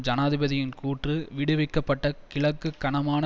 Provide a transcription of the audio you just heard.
ஜனாதிபதியின் கூற்று விடுவிக்கப்பட்ட கிழக்கு கனமான